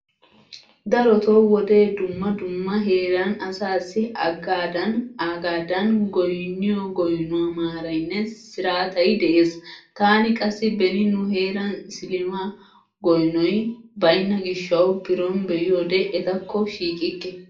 Daroto wode dumma dumma heeran asassi aagadan aagadan goynniyo goynuwa maaraynne siraatay de'ees. Taani qassi beni nu heeran isilama goynoy baynna gishshawu biron be'iyode etakko shiiqikke.